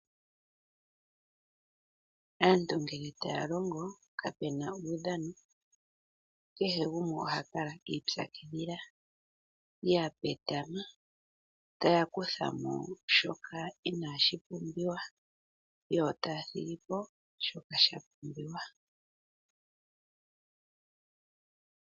Aantu ngele taya longo, ihapu kala uudhano, kehe gumwe oha kala i ipyakidhila. Ohaya kala ya petama, taya kutha mo shoka inashi pumbiwa, yo taya thigi po shoka sha pumbiwa.